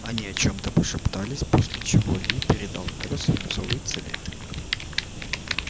они о чем-то пошептались после чего ли передал мэру свинцовый цилиндрик